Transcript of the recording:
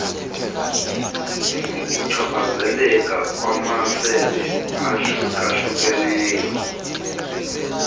ukuchaphazeleka kwamasebe ahlukahlukeneyo